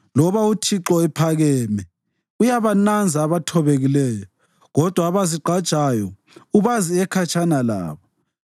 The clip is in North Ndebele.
Loba uThixo ephakeme, uyabananza abathobekileyo, kodwa abazigqajayo ubazi ekhatshana labo.